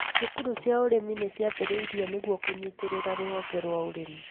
Cukuru cia ũrĩmi nĩciambĩrĩiirio nĩguo kũnyitĩrĩra rũhonge rwa ũrĩmi